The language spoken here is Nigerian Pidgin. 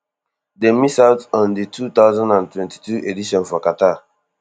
dem miss out on di two thousand and twenty-two edition for qatar